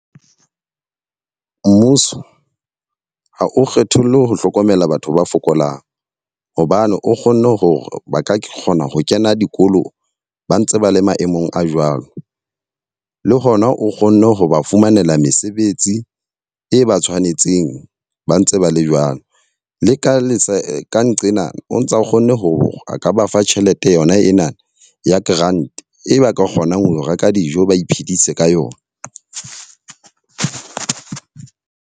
Mmuso ha o kgetholle ho hlokomela batho ba fokolang. Hobane o kgonne hore ba ka kgona ho kena dikolo ba ntse ba le maemong a jwalo. Le hona o kgonne ho ba fumanela mesebetsi e ba tshwanetseng ba ntse ba le jwalo. Le ka le ka nqena o ntse o kgonne ho a ka ba fa tjhelete yona ena ya grant, e ba ka kgonang ho reka dijo ba iphedisa ka yona.